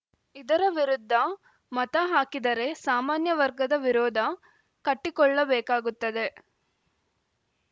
ಇದರ ವಿರುದ್ಧ ಮತ ಹಾಕಿದರೆ ಸಾಮಾನ್ಯ ವರ್ಗದ ವಿರೋಧ ಕಟ್ಟಿಕೊಳ್ಳಬೇಕಾಗುತ್ತದೆ